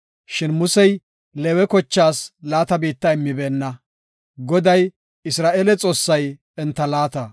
Shin Musey Leewe kochaas laata biitta immibeenna. Goday, Isra7eele Xoossay enta laata.